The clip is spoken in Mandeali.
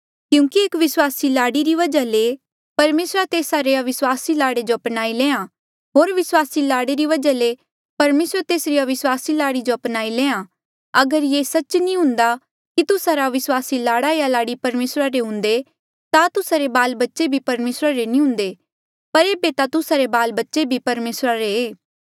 क्यूंकि एक विस्वासी लाड़ी री वजहा ले परमेसरा तेस्सा रे अविस्वासी लाड़े जो अपनाई लेआ होर विस्वासी लाड़े री वजहा परमेसर तेसरी अविस्वासी लाड़ी जो अपनाई लेआ अगर ये सच्च नी हुंदा कि तुस्सा रा अविस्वासी लाड़ा या लाड़ी परमेसरा रे हुंदे ता तुस्सा रे बाल बच्चे भी परमेसरा रे नी हुंदे पर एेबे ता तुस्सा रे बाल बच्चे भी परमेसरा रे